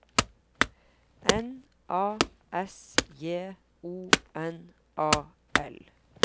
N A S J O N A L